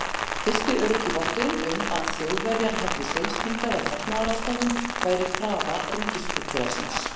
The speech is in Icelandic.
Fyrsti öruggi votturinn um, að Þjóðverjar hefðu seilst hingað af hernaðarástæðum, væri krafa ríkisflugfélagsins